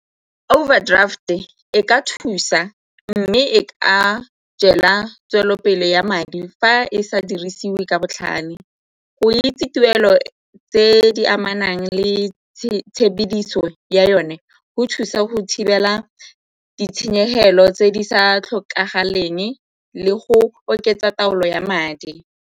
Overdraft-e e ka thusa mme e ka jela tswelelopele ya madi fa e sa dirisiwe ka botlhale. Go itse tuelo tse di amanang le yone go thusa go thibela ditshenyegelo tse di sa tlhokagaleng le go oketsa taolo ya madi.